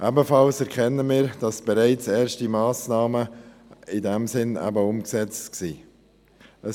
Ebenfalls erkennen wir, dass bereits erste Massnahmen in diesem Sinn umgesetzt sind.